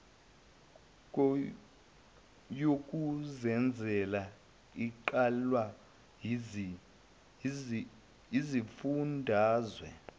yokuzenzela eqalwa yizifundazwe